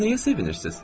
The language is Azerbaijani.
Siz nəyə sevinirsiz?